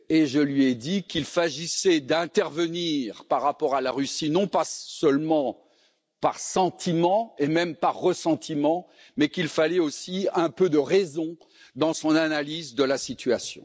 Je lui ai dit qu'il s'agissait d'intervenir vis à vis de la Russie, non pas uniquement par sentiment, voire par ressentiment, mais qu'il fallait aussi un peu de raison dans son analyse de la situation.